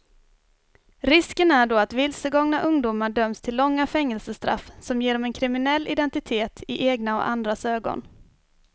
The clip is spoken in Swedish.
Risken är då att vilsegångna ungdomar döms till långa fängelsestraff som ger dem en kriminell identitet i egna och andras ögon.